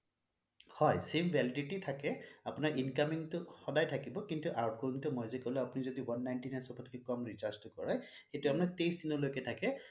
হয় sim validity থাকে আপোনাৰ incoming টো সদায় থাকিব কিন্তু outgoing টো মই যে কলু আপুনি যদি one ninety nine সৱতকে কম recharge টো কৰে সেইটো তাৰ মানে টেইছ দিনলৈকে থাকে